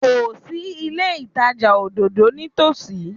Kò sí ilé ìtajà òdòdó ní ìtòsí.